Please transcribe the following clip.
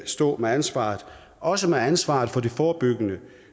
stå med ansvaret også med ansvaret for det forebyggende